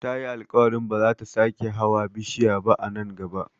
Tayi alkawarin ba zata sake hawa bishiya ba a nan gaba